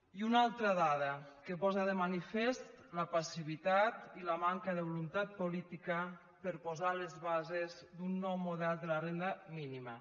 i una altra dada que posa de manifest la passivitat i la manca de voluntat política per posar les bases d’un nou model de la renda mínima